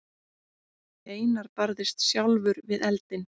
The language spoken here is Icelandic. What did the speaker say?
Einar barðist sjálfur við eldinn.